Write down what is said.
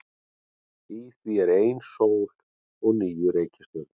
Í því er ein sól og níu reikistjörnur.